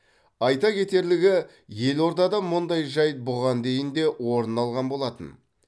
айта кетерлігі елордада мұндай жайт бұған дейін де орын алған болатын